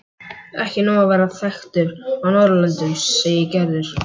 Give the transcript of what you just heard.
Ekki nóg að vera þekktur á Norðurlöndum segir Gerður.